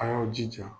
A y'aw jija